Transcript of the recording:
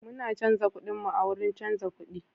Muna canza kudinmu a wurin canza kudi.